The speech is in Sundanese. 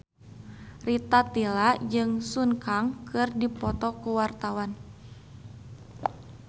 Rita Tila jeung Sun Kang keur dipoto ku wartawan